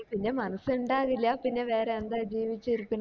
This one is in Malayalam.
പിന്നെ മനസ്സ് ഇണ്ടാകില്ല പിന്നെ വേറെ എന്താ ജീവിച്ചിരിക്കണ